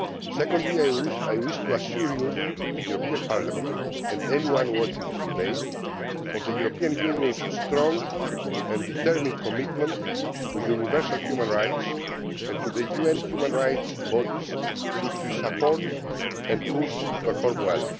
Secondly, I wish to assure you, the European Parliament, and anyone watching this debate, of the European Union's strong and determined commitment to universal human rights and to the UN human rights bodies, which we support and which we push to perform well.